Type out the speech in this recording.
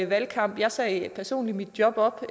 valgkamp jeg sagde personligt mit job op